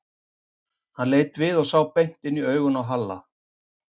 Hann leit við og sá beint inn í augun á Halla.